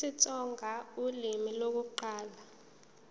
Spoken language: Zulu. isitsonga ulimi lokuqala